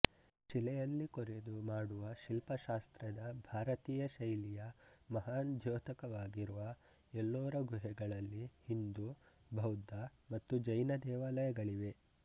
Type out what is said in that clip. ಶಿಲೆಯಲ್ಲಿ ಕೊರೆದು ಮಾಡುವ ಶಿಲ್ಪಶಾಸ್ತ್ರದ ಭಾರತೀಯ ಶೈಲಿಯ ಮಹಾನ್ ದ್ಯೋತಕವಾಗಿರುವ ಎಲ್ಲೋರಾ ಗುಹೆಗಳಲ್ಲಿ ಹಿಂದೂ ಬೌದ್ಧ ಮತ್ತು ಜೈನ ದೇವಾಲಯಗಳಿವೆ